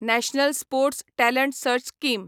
national sports talent search scheme